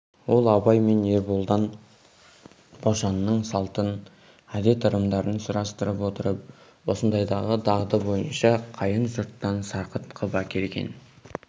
ол абай мен ерболдан бошанның салтын әдет ырымдарын сұрастырып отырып осындайдағы дағды бойынша қайын жұрттан сарқыт қып әкелген